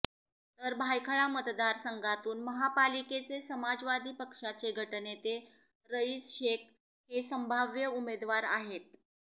तर भायखळा मतदार संघातून महापालिकेचे समाजवादी पक्षाचे गटनेते रईस शेख हे संभाव्य उमेदवार आहेत